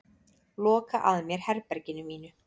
Loka að mér herberginu mínu.